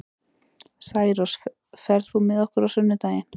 Særós, ferð þú með okkur á sunnudaginn?